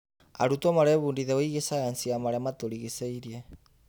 Arutwo marebundithia wĩgiĩ cayanci ya marĩa matũrigicĩirie.